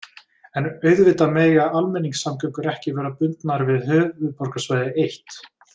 En auðvitað mega almenningssamgöngur ekki vera bundnar við höfuðborgarsvæðið eitt.